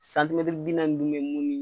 bi naani bɛ mun ye